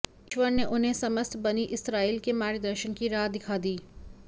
ईश्वर ने उन्हें समस्त बनी इस्राईल के मार्गदर्शन की राह दिखा दी